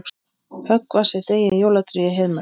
Höggva sitt eigið jólatré í Heiðmörk